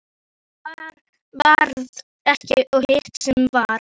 Það sem varð ekki og hitt sem varð